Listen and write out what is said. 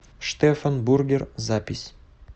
штефан бургер запись